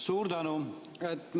Suur tänu!